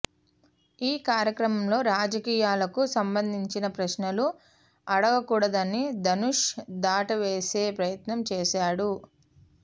ఈ కార్యక్రమంలో రాజకీయాలకు సంబందించిన ప్రశ్నలు అడగకూడదని ధనుష్ దాటవేసే ప్రయత్నం చేశాడు